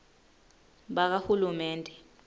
bakahulumende